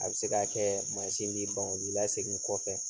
A bɛ se ka kɛɛ mansin bi ban o b'i lasegin kɔfɛ.